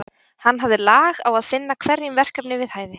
Hann hafði lag á að finna hverjum verkefni við hæfi.